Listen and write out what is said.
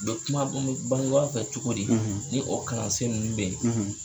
U be kuma bangebaw fɛ cogo di , ni o kalansen nunnu be yen